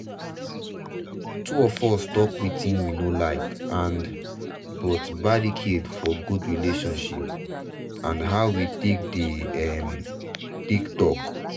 two us talk wetin we no like and but barricade for good relationship and how we dey um take talk.